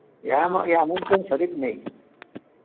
এমন কোনো সরির নেই